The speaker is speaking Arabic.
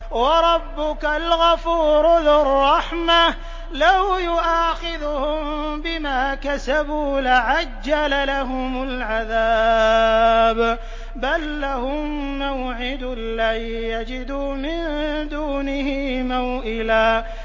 وَرَبُّكَ الْغَفُورُ ذُو الرَّحْمَةِ ۖ لَوْ يُؤَاخِذُهُم بِمَا كَسَبُوا لَعَجَّلَ لَهُمُ الْعَذَابَ ۚ بَل لَّهُم مَّوْعِدٌ لَّن يَجِدُوا مِن دُونِهِ مَوْئِلًا